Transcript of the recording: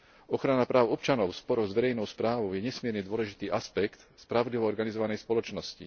Ochrana práv občanov spolu s verejnou správou je nesmierne dôležitý aspekt spravodlivo organizovanej spoločnosti.